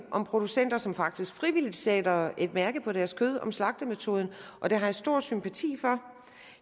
om producenter som faktisk frivilligt sætter et mærke på deres kød om slagtemetoden og det har jeg stor sympati for